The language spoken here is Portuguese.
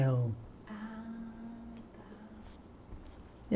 Ah, tá.